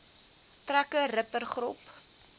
trekker ripper grop